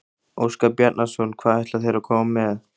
Óskar Bjarnason: Hvað ætla þeir að koma með?